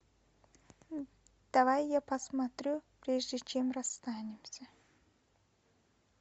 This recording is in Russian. давай я посмотрю прежде чем расстанемся